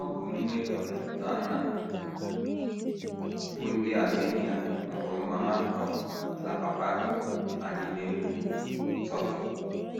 ỌBỤ nne um na nna bụ́ ndị Armenia mụrụ mama um na papa um anyị na Enugu, Turkey.